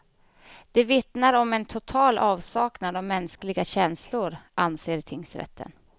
De vittnar om en total avsaknad av mänskliga känslor, anser tingsrätten.